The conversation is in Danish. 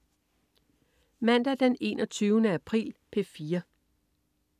Mandag den 21. april - P4: